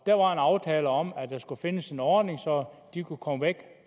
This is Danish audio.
der var en aftale om at der skulle findes en ordning så de kunne komme væk